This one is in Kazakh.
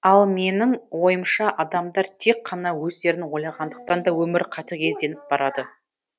ал менің ойымша адамдар тек қана өздерін ойлағандықтан да өмір қатігезденіп барады